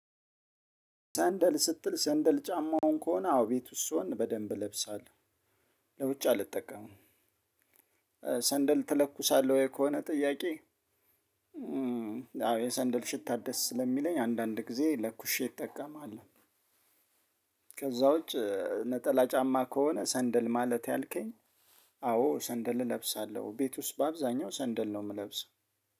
ሰንደል ስትል ሰንደል ጫማውን ከሆነ አዎ ቤቱ ውስጥ ሲሆን በደንብ እለብሳለሁ ለውጭ አልጠቀምም። ሰንደል ትለኩሳለህ ወይ ከሆነ ጥያቄ? አዎ የሰንደል ሽታ ደስ ስለሚለኝ አንዳንድ ጊዜ ለኩሼ ይጠቀማለው። ከዛ ውጭ ነጠላ ጫማ ከሆነ ሰንደል ማለት ያልከኝ? አዎ ሰንደል እለብሳለሁ ቤት ውስጥ በአብዛኛው ሰንደል ነው ምለብሰው።